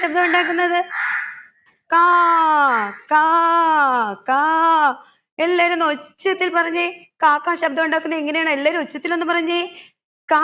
ശബ്‌ദമുണ്ടാക്കുന്നത് കാ കാ കാ എല്ലാവരും ഒന്നൊച്ചത്തിൽ പറഞ്ഞെ കാക്കാ ശബ്‌ദമുണ്ടാക്കുന്നത് എങ്ങനെയാണ് എല്ലാവരും ഒച്ചത്തിൽ പറഞ്ഞെ